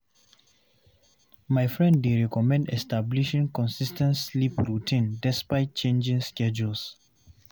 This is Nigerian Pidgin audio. My friend dey recommend establishing consis ten t sleep routine despite changing schedules.